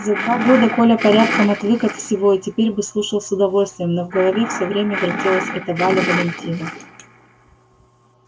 за два года коля порядком отвык от всего и теперь бы слушал с удовольствием но в голове всё время вертелась эта валя валентина